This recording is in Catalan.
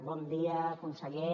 bon dia conseller